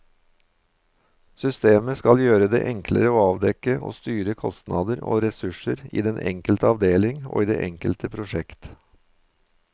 Systemet skal gjøre det enklere å avdekke og styre kostnader og ressurser i den enkelte avdeling og i det enkelte prosjekt.